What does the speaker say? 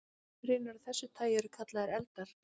Goshrinur af þessu tagi eru kallaðar eldar.